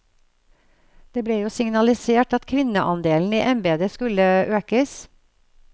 Det ble jo signalisert at kvinneandelen i embedet skulle økes.